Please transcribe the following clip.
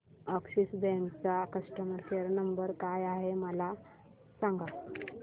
Axis bank चा customer care number काय आहे मला सांगा